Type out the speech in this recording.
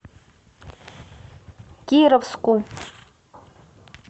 кировску